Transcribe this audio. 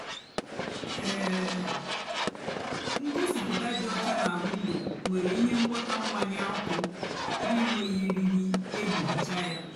um ngosipụta dị ọcha nà windo nwérè íhè ngwọta mmanya ọkụ nà-ènwéghị eriri èjí hicha ya.